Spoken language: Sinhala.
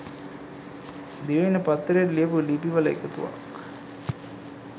දිවයින පත්තරේට ලියපු ලිපි වල එකතුවක්.